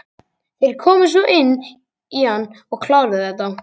Þeir komu svo inn í hann og kláruðu þetta.